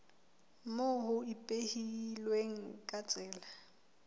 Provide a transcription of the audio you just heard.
moo ho ipehilweng ka tsela